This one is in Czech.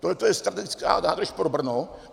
Tohleto je strategická nádrž pro Brno.